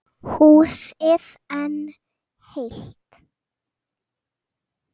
Húsið enn heilt.